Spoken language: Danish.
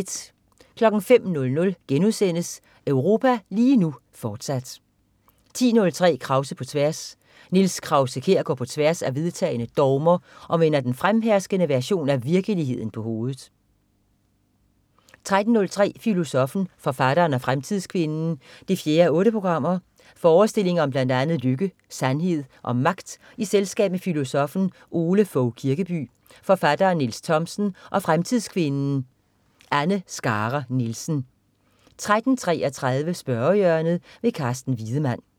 05.00 Europa lige nu, fortsat* 10.03 Krause på tværs. Niels Krause-Kjær går på tværs af vedtagne dogmer og vender den fremherskende version af virkeligheden på hovedet 13.03 Filosoffen, forfatteren og fremtidskvinden 4:8. Forestillinger om blandt andet lykke, sandhed og magt i selskab med filosoffen Ole Fogh Kirkeby, forfatteren Niels Thomsen og fremtidskvinden Anne Skare Nielsen 13.33 Spørgehjørnet. Carsten Wiedemann